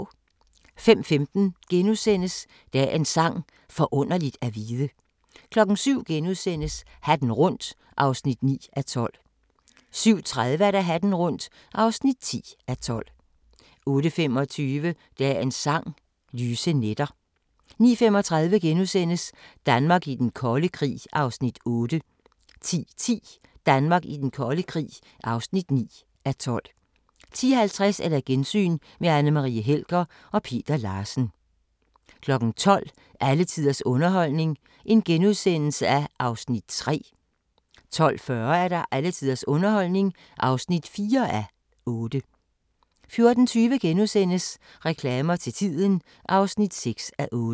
05:15: Dagens Sang: Forunderligt at vide * 07:00: Hatten rundt (9:12)* 07:30: Hatten rundt (10:12) 08:25: Dagens Sang: Lyse nætter 09:35: Danmark i den kolde krig (8:12)* 10:10: Danmark i den kolde krig (9:12) 10:50: Gensyn med Anne Marie Helger og Peter Larsen 12:00: Alle tiders underholdning (3:8)* 12:40: Alle tiders underholdning (4:8) 14:20: Reklamer til tiden (6:8)*